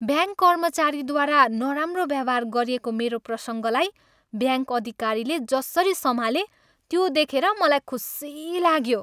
Bank कर्मचारीद्वारा नराम्रो व्यवहार गरिएको मेरो प्रसङ्गलाई ब्याङ्क अधिकारीले जसरी सम्हाले त्यो देखेर मलाई खुसी लाग्यो।